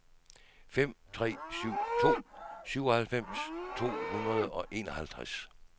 fem tre syv to syvoghalvfjerds to hundrede og enoghalvtreds